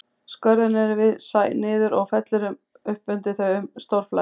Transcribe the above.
Skörðin eru við sæ niður og fellur upp undir þau um stórflæði.